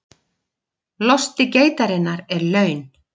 Losti geitarinnar er laun